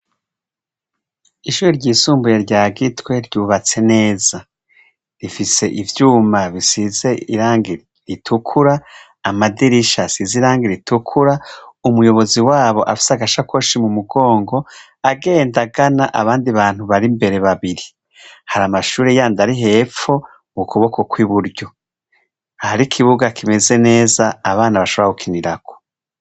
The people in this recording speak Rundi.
Ishure ryisumbuye rya gitwe ryubatse neza rifise ivyuma bisize irangi ritukura, amadirisha asize irangi ritukura ,umuyobozi waho afise agasakoshi mumugongo agenda agana abandi bantu bir'imbere babiri hari amashure yandi ari hepfo mukuboko bwiburyo.